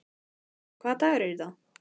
Hanna, hvaða dagur er í dag?